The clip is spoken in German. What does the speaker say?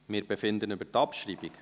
Wir befinden über die Abschreibung.